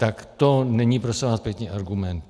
Tak to není prosím vás pěkně, argument.